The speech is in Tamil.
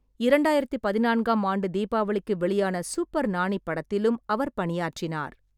இரண்டாயிரத்தி பதினான்காம் ஆண்டு தீபாவளிக்கு வெளியான சூப்பர் நானி படத்திலும் அவர் பணியாற்றினார்.